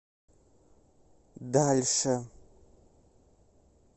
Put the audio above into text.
дальше